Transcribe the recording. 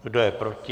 Kdo je proti?